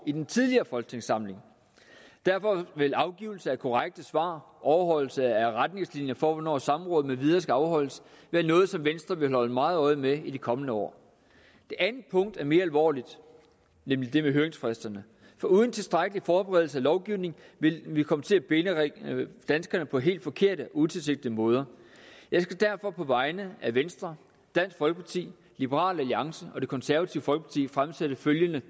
i den tidligere folketingssamling derfor vil afgivelse af korrekte svar overholdelse af retningslinjer for hvornår samråd med videre skal afholdes være noget som venstre vil holde meget øje med i de kommende år det andet punkt er mere alvorligt nemlig det med høringsfristerne for uden tilstrækkelig forberedelse af lovgivning vil vi komme til at binde danskerne på helt forkerte og utilsigtede måder jeg skal derfor på vegne af venstre dansk folkeparti liberal alliance og det konservative folkeparti fremsætte følgende